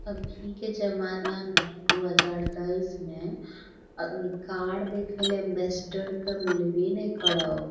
अभी के जमाना में दू हजार तेईस में अ कार देखे ले एंबेसडर ते मिलवे ने करब।